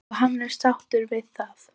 Og hann er sáttur við það sem hann sér.